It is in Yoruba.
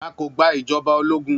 A kò gba ìjọba ológun